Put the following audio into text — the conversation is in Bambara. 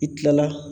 I kilala